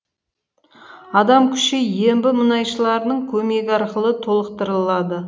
адам күші ембі мұнайшыларының көмегі арқылы толықтырылады